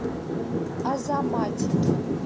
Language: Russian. азаматике